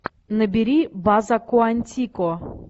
набери база куантико